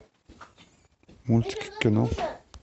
мультики кино